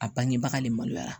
A bangebaga le maloyara